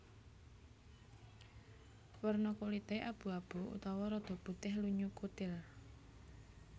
Werna kulité abu abu utawa rada putih lunyu kutil